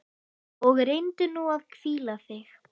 Og reyndu nú að hvíla þig.